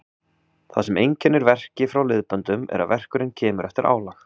Það sem einkennir verki frá liðböndum er að verkurinn kemur eftir álag.